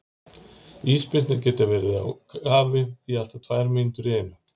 Ísbirnir geta verið í kafi í allt að tvær mínútur í einu.